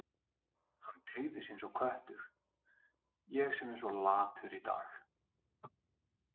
Hann teygði sig eins og köttur: Ég sem er svo latur í dag.